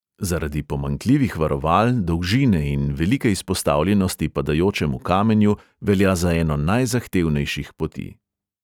Zaradi pomanjkljivih varoval, dolžine in velike izpostavljenosti padajočemu kamenju velja za eno najzahtevnejših poti.